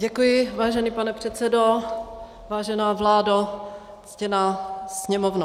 Děkuji, vážený pane předsedo, vážená vládo, ctěná Sněmovno.